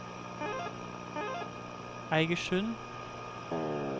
Eigersund